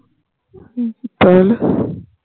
হম তা হলে